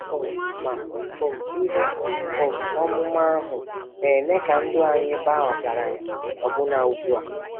um Ma um ihe um ọmụma ahụ na-eme ka ndụ anyị baa ọgaranya ọbụna ugbu a.